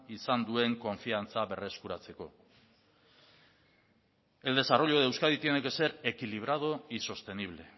izan duen konfiantza berreskuratzeko el desarrollo de euskadi tiene que ser equilibrado y sostenible